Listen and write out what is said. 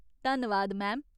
धन्नवाद, मैम।